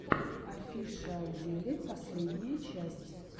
офишиалзеле последняя часть